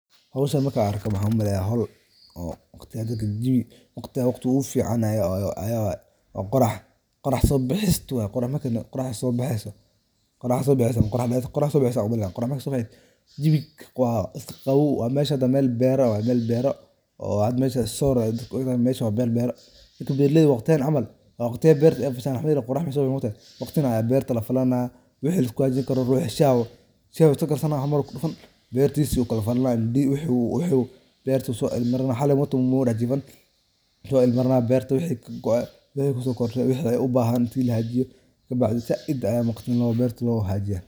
Howshan markaan arko maxan umaleyaa waqtiga dadka jawi waqtiga waqti ogufican yaa waye oo qorax sobaxisto waa quruh marka qorah sobaxeyso subuxii. Jawiga waa qaoow mesha neh waa mel beero oo hada mesha sawir ayee dadka uimadhaan. mesha waa meel beero lakin beeraleyda waqtigan camal waa waqtiga berta eey fashaan mxaayele qorah meey soobixin moogtahy. Waqtigan ayaa beerta lafalaan waxi liskuhadli karo ruxi shax cunto karsanaa camal kudufan beertisa uu kalafalana biyo wuxu beertu sooagamarana xali moogtahy muu dax jiifan. marna beerta wixi kagoey yuu kusokordina waxey ubaahantahy in laxagaajiyo kadi saaid aya beerta loo hagajiya.